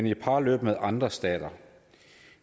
i et parløb med andre stater